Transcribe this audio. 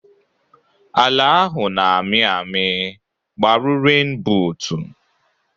Ala ahụ na amị ami, gbaru ren bụtu